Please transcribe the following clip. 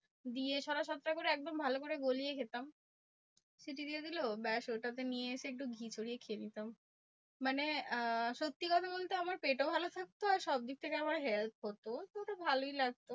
দিয়ে ছটা সাতটা করে একদম ভালো করে গলিয়ে খেতাম। সিটি দিয়ে দিলো ব্যাস ওটাতে নিয়ে এসে একটু ঘি ছড়িয়ে খেয়ে নিতাম। মানে আহ সত্যি কথা বলতে আমার পেটও ভালো থাকতো। আর সবদিক থেকে আমার help হতো। তো ওটা ভালোই লাগতো।